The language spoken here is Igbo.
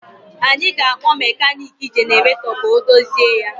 Anyị ga-akpọ mekaniki jenaratọ ka o dozie ya